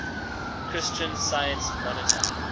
christian science monitor